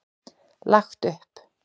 Lagt upp.